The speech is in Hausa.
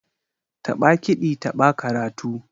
Taɓa kiɗi taɓa karatu